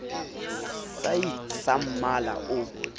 sa id sa mmala o